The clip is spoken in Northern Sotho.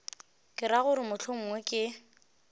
ke ra gore mohlomongwe ke